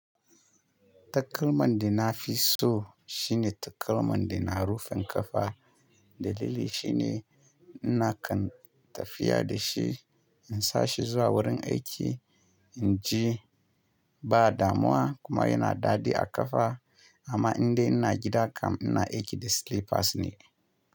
Takalman da na fi so shine takalman da na rufin kafa. Dalili shine ina kan tafiya da shi, in sa shi zuwa wurin aiki, in ji ba damuwa kuma yana daɗi a kafa. Amma indai ina gida kam ina aiki da slippers ne.